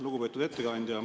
Lugupeetud ettekandja!